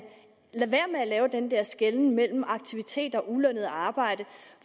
lader at lave den der skelnen mellem aktiviteter og ulønnet arbejde